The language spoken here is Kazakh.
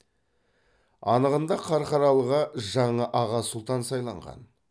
анығында қарқаралыға жаңа аға сұлтан сайланған